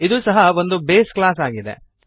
ಇದೂ ಸಹ ಒಂದು ಬೇಸ್ ಕ್ಲಾಸ್ ಆಗಿದೆ